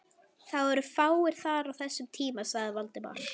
Það eru fáir þar á þessum tíma sagði Valdimar.